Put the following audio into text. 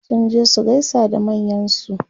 sun je su gaisa da manyansu